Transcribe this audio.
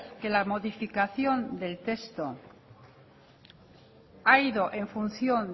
que la modificación del texto ha ido en función